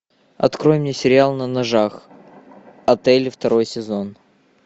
открой мне сериал на ножах отели второй сезон